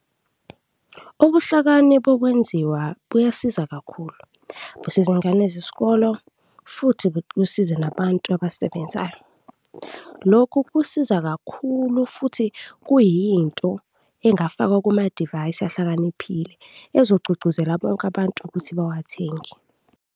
Ubuhlakani bokwenziwa buyasiza kakhulu, busiza iy'ngane zesikolo futhi kusize nabantu abasebenzayo. Lokhu kusiza kakhulu futhi kuyinto engafakwa kuma-device ahlakaniphile, ezogqugquzela bonke abantu ukuthi bawathenge.